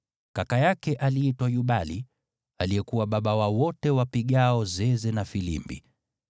Kaka yake aliitwa Yubali, aliyekuwa baba wa wote wapigao zeze na filimbi.